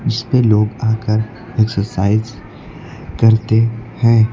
इसपे लोग आकर एक्सरसाइज करते हैं।